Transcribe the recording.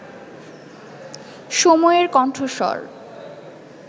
সময়ের কণ্ঠস্বর